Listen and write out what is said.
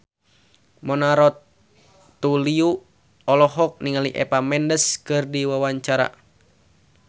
Mona Ratuliu olohok ningali Eva Mendes keur diwawancara